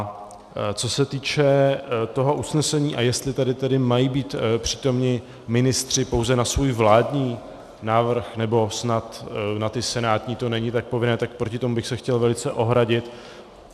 Co se týče toho usnesení, a jestli tady tedy mají být přítomni ministři pouze na svůj vládní návrh, nebo snad na ty senátní to není tak povinné, tak proti tomu bych se chtěl velice ohradit.